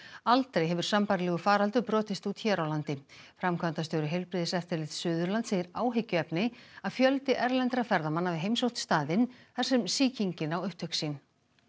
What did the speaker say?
aldrei hefur sambærilegur faraldur brotist út hér á landi framkvæmdastjóri Heilbrigðiseftirlits Suðurlands segir áhyggjuefni að fjöldi erlendra ferðamanna hafi heimsótt staðinn þar sem sýkingin á upptök sín